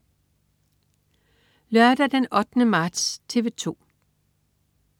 Lørdag den 8. marts - TV 2: